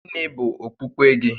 Gịnị bụ okpukpe gị?